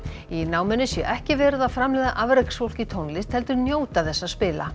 í náminu sé ekki verið að framleiða afreksfólk í tónlist heldur njóta þess að spila